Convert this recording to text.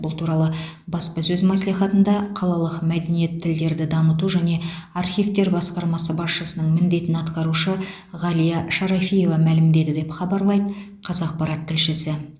бұл туралы баспасөз мәслихатында қалалық мәдениет тілдерді дамыту және архивтер басқармасы басшысының міндетін атқарушы ғалия шарафиева мәлімдеді деп хабарлайды қазақпарат тілшісі